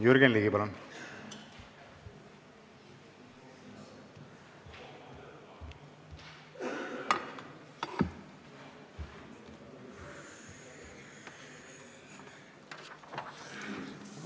Jürgen Ligi, palun!